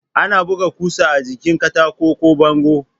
Ana buga ƙusa a jikin katako ko bango.